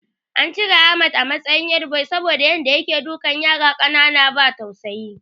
An cire Ahmad a matsayin headboy saboda Yadda yake dukan yara ƙanana ba tausayi